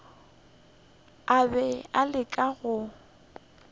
a be a leka go